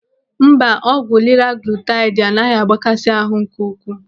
Mba, ọgwụ liraglutaidi anaghị agbakasi ahụ nke ukwuu.